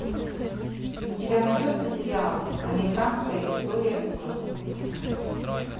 у тебя найдется сериал американская история ужасов